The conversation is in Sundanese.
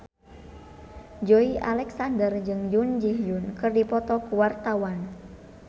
Joey Alexander jeung Jun Ji Hyun keur dipoto ku wartawan